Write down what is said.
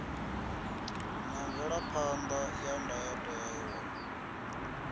na mvelaphan ḓa ya ndayotewa